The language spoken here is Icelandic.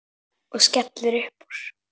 Og skellir upp úr.